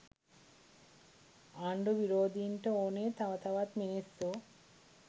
ආණ්ඩු විරෝදින්ට ඕනේ තව තවත් මිනිස්සු